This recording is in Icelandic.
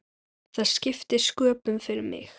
Það skipti sköpum fyrir mig.